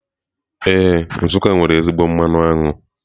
Ee, Nsuká nwere ezigbo mmanụ aṅụ.